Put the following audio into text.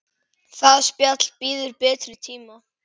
Það spjall bíður betri tíma.